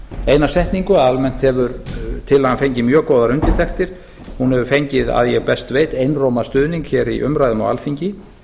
eina setningu að almennt hefur tillagan fengið mjög góðar undirtektir hún hefur fengið að ég best veit einróma stuðning hér í umræðum á alþingi